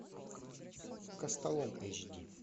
костолом эйч ди